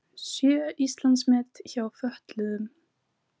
Sjö Íslandsmet hjá fötluðum